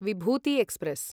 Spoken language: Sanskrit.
विभूति एक्स्प्रेस्